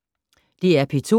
DR P2